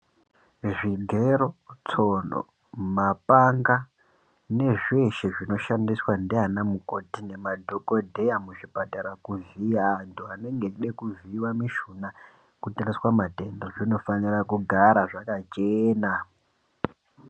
Zvigero tsono mapanga nezveshe zvinoshandiswa nana mukoti namadhokodheya muzvipatara kuvhiya antu anenge eida kuvhiiwa mishuna zvinofanirwa kugara zvakachena.